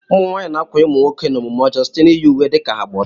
Ụmụnwaanyị na-ákwànye ụmụnwoke n'omume ọjọọ site n'iyi uwe dị ka ha gba ọtọ